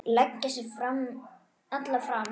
Leggja sig alla fram.